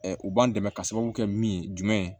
u b'an dɛmɛ ka sababu kɛ min ye jumɛn ye